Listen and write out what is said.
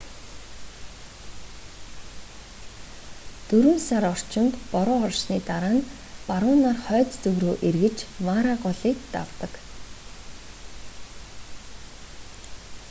дөрвөн сар орчимд бороо орсны дараа нь баруунаар хойд зүг рүү эргэж мара голыг давдаг